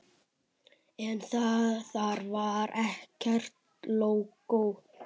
En þar var ekkert lógó.